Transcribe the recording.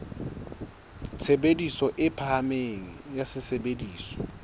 tshebediso e phahameng ya sesebediswa